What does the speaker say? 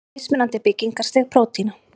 Mismunandi byggingarstig prótína.